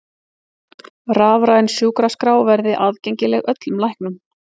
Rafræn sjúkraskrá verði aðgengileg öllum læknum